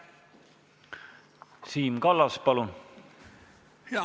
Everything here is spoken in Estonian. Siim Kallas, palun!